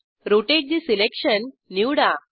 rotate ठे selection निवडा